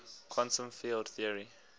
quantum field theory